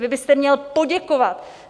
Vy byste měl poděkovat!